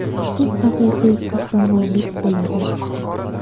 Bu haqiqiy qahramonlik bo‘ladi.